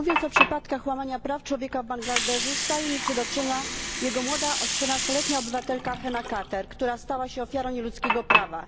Mówiąc o przypadkach łamania praw człowieka w Bangladeszu staje mi przed oczyma jego młoda, 14 letnia obywatelka Hena Kabir, która stała się ofiarą nieludzkiego prawa.